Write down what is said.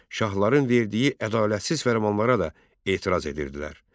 Şahların verdiyi ədalətsiz fərmanlara da etiraz edirdilər.